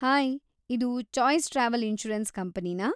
Hi, ಇದು choice travel insurance ಕಂಪನಿನಾ?